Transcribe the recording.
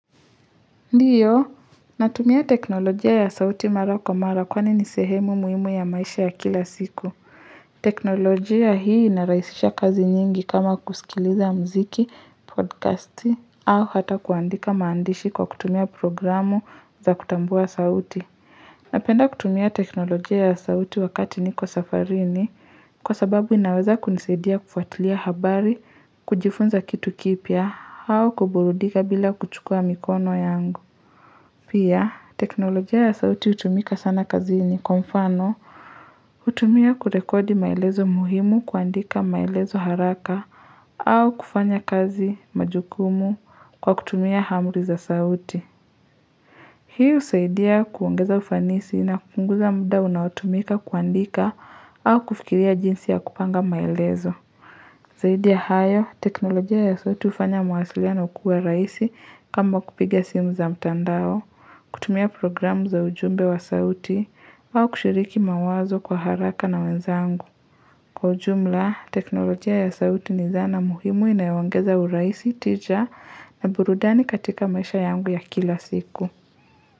Ndiyo, natumia teknolojia ya sauti mara kwa mara kwani ni sehemu muhimu ya maisha ya kila siku. Teknolojia hii inarahisisha kazi nyingi kama kusikiliza mziki, podcasti, au hata kuandika maandishi kwa kutumia programu za kutambua sauti. Napenda kutumia teknolojia ya sauti wakati niko safarini, kwa sababu inaweza kunisadia kufatilia habari, kujifunza kitu kipya, au kuburudika bila kuchukua mikono yangu. Pia, teknolojia ya sauti hutumika sana kazini kwa mfano hutumia kurekodi maelezo muhimu kuandika maelezo haraka au kufanya kazi majukumu kwa kutumia amri za sauti Hii husaidia kuongeza ufanisi na kupunguza muda unaotumika kuandika au kufikiria jinsi ya kupanga maelezo Zaidi ya hayo, teknolojia ya sauti hufanya mawasiliano kua rahisi kama kupiga simu za mtandao kutumia programu za ujumbe wa sauti wao kushiriki mawazo kwa haraka na wenzangu. Kwa ujumla, teknolojia ya sauti ni zana muhimu inayoongeza urahisi, tija na burudani katika maisha yangu ya kila siku.